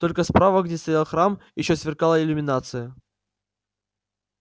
только справа где стоял храм ещё сверкала иллюминация